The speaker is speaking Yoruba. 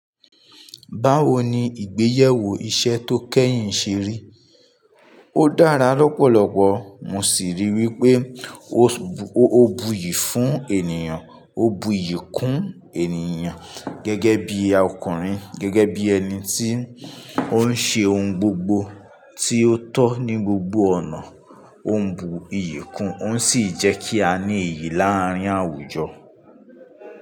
Báwo ni ìgbéyẹwó iṣẹ́ tó kẹ́yìn ṣe rí? Ó dára lọ́pọ̀lọpọ̀. Mo sì rí i wípé ó bu iyì fún ènìyàn, ó bu iyì kún ènìyàn. Gẹ́gẹ́ bí ọkùnrin, gẹ́gẹ́ bí ẹni tí ó ń ṣe ohun gbogbo tí ó tọ́ ní gbogbo ọ̀nà, ó ń bu iyì kún, ó sì jẹ́ kí a ní iyì láàárín àwùjọ.